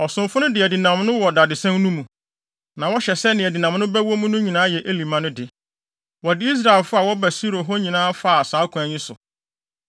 ɔsomfo no de adinam no wɔ dadesɛn no mu. Na wɔhyɛ sɛ nea adinam no bɛwɔ mu no nyinaa yɛ Eli mma no de. Wɔde Israelfo a wɔba Silo hɔ nyinaa faa saa ɔkwan yi so.